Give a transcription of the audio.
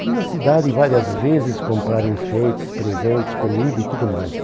Fui na cidade várias vezes comprar enfeites, presentes, comida e tudo mais.